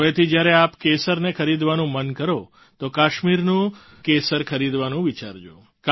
હવેથી જ્યારે આપ કેસરને ખરીદવાનું મન કરો તો કાશ્મીરનું જ કેસર ખરીદવાનું વિચારજો